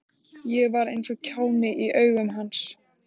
Ég var eins og kjáni í augum hans.